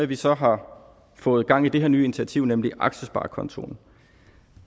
vi så har fået gang i det her nye initiativ nemlig aktiesparekontoen